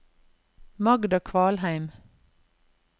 Magda Kvalheim